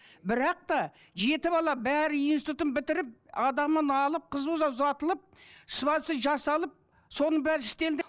бірақ та жеті бала бәрі институтын бітіріп адамын алып қызымыз ұзатылып свадьбасы жасалып соның бәрі істелді